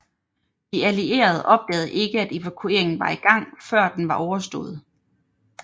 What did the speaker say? De allierede opdagede ikke at evakueringen var i gang før den var overstået